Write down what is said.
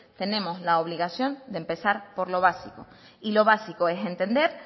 tenemos la obligación de empezar por lo básico y lo básico es entender